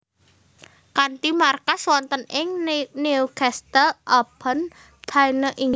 Kanthi markas wonten ing Newcastle upon Tyne Inggris